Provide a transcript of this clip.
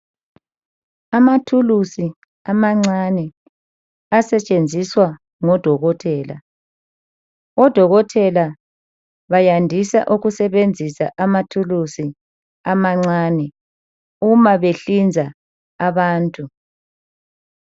Amathuluzi amancane, asetshenziswa ngodokotela. Odokotela bayandisa ukusebenzisa amathuluzi amancane uma behlinza abantu.